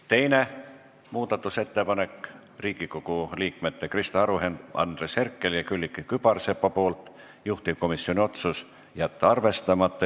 Teine muudatusettepanek on Riigikogu liikmete Krista Aru, Andres Herkeli ja Külliki Kübarsepa tehtud, juhtivkomisjon otsus: jätta arvestamata.